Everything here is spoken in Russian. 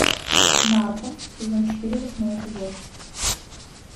нарко сезон четыре восьмой эпизод